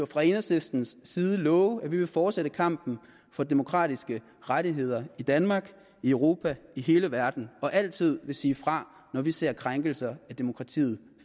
fra enhedslistens side love at vi vil fortsætte kampen for demokratiske rettigheder i danmark i europa i hele verden og altid vil sige fra når vi ser krænkelser af demokratiet